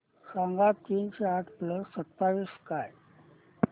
सांगा तीनशे आठ प्लस सत्तावीस काय